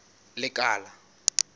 lekala